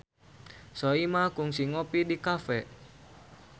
Soimah kungsi ngopi di cafe